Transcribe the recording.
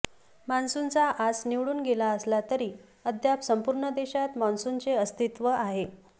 मॉन्सूनचा आस निवळून गेला असला तरी अद्याप संपूर्ण देशात मॉन्सूनचे अस्तित्व आहे